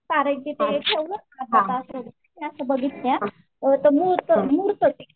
कारण की ते असे बघितलेत असं असं मुरतं ते